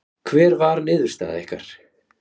Hver var niðurstaða ykkar?